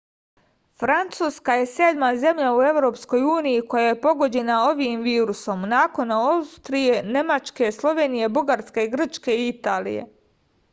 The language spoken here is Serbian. francuska je sedma zemlja u evropskoj uniji koja je pogođena ovim virusom nakon austrije nemačke slovenije bugarske grčke i italije